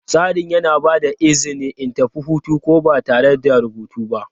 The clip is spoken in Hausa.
Tsarin yana ba da izini in tafi hutu ko da ba tare da rubutu ba.